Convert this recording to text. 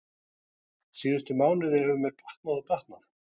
Síðustu mánuði hefur mér batnað og batnað.